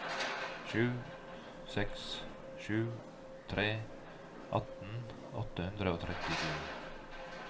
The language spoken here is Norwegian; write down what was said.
sju seks sju tre atten åtte hundre og trettisju